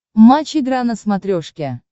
матч игра на смотрешке